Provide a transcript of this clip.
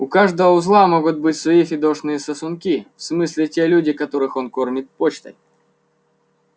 у каждого узла могут быть свои фидошные сосунки в смысле те люди которых он кормит почтой